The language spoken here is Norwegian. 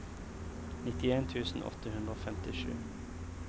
nittien tusen åtte hundre og femtisju